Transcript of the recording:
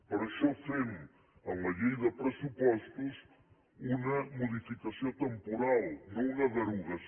per això fem en la llei de pressupostos una modificació temporal no una derogació